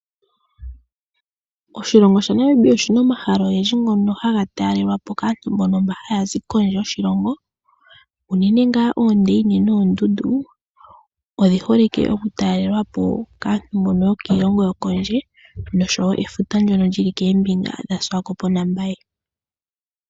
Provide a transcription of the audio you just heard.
Oshilongo shaNamibia oshina omahala ogendji ngono haga taalelwapo kaantu mbono haya zi kondje yoshilongo. Unene tuu ondundu odhi hole okutalelwapo kaantu mbono yokiilongo yokondje noshowoo efuta ndyono lyili koombinga dhaMbaye naSwakopmund .